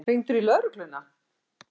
Hringdirðu í lögregluna?